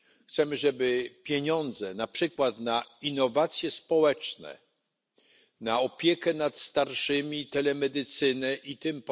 Chcemy, żeby pieniądze, na przykład na innowacje społeczne, na opiekę nad starszymi, telemedycynę itp.